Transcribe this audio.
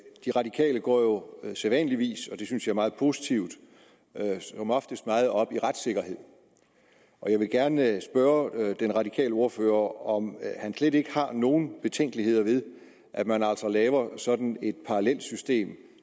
de radikale går jo sædvanligvis og det synes jeg er meget positivt meget op i retssikkerhed og jeg vil gerne spørge den radikale ordfører om han slet ikke har nogen betænkeligheder ved at man altså laver sådan et parallelsystem